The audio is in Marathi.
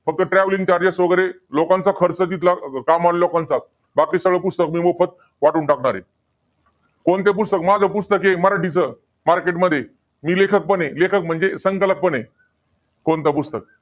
फक्त traveling charges वगैरे. लोकांचा खर्च तिथला, काम वाल्या लोकांचा. बाकी सगळं पुस्तक मी मोफत वाटून टाकणार आहे. कोणतं पुस्तक आहे? माझं पुस्तक आहे, मराठीचं. Market मध्ये. मी लेखकपण आहे. म्हणजे, संकलक पण आहे. कोणतं पुस्तक.